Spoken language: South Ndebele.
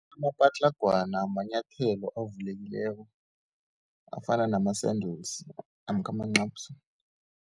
Amapatlagwana manyathelo avulekileko, afana nama-sandals namkha amancapsi.